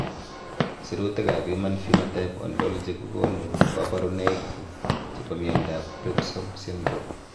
Sirutikab Human Phenotype Ontology kokonu koborunoikchu chebo miondab Primrose syndrome.